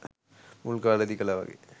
මුල් කාලේදී කළා වගේ